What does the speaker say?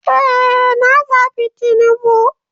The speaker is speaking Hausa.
Ee, na zabi tinubu.